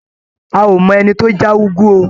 A ò mọ ẹni tó já úgú o.